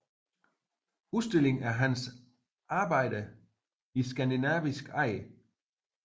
Udstilling af Hans Arbejder i skandinavisk eje